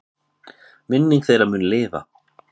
Minning þeirra mun lifa.